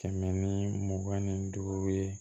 Kɛmɛ ni mugan ni duuru ye